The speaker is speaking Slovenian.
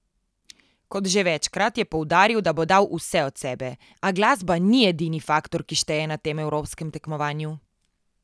Kot že večkrat je poudaril, da bo dal vse od sebe, a glasba ni edini faktor, ki šteje na tem evropskem tekmovanju.